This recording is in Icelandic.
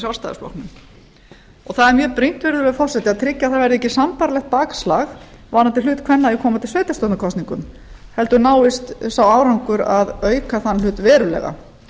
það er mjög brýnt að tryggja það virðulegi forseti að tryggja að það verði ekki sambærilegt bakslag varðandi hlut kvenna í komandi sveitarstjórnarkosningum heldur náist sá árangur að auka þann hlut verulega